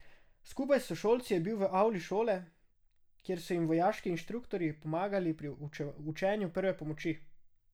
Skupaj s sošolci je bil v avli šole, kjer so jim vojaški inštruktorji pomagali pri učenju prve pomoči.